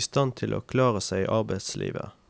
i stand til å klare seg i arbeidslivet.